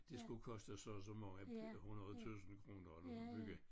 Det skulle koste så og så mange 100 tusind kroner at bygge